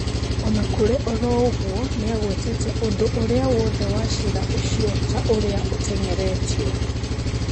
Onakũrĩ oroũguo nĩagwetete ũndũ ũrĩa wothe wa ciira ũcio ta ũrĩa ũteng'eretio